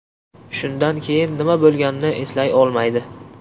Shundan keyin nima bo‘lganini eslay olmaydi.